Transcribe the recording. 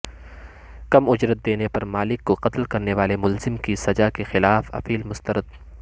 کم اجرت دینے پر مالک کو قتل کرنے والے ملزم کی سزا کیخلاف اپیل مسترد